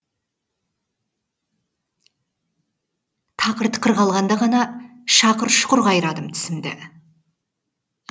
тақыр тықыр қалғанда ғанашақыр шұқыр қайрадым тісімді